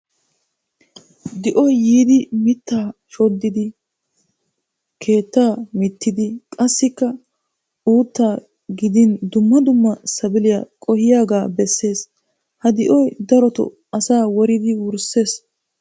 Di'oy yiiddi miitta wodissidi keettaa mittidi qassikka uuttaa gidin dumma dumma sabiliya qohiyaga besses. Ha di'oy daroto asaa woridi wursses.